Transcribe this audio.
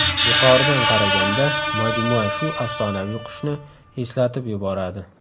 Yuqoridan qaraganda majmua shu afsonaviy qushni eslatib yuboradi.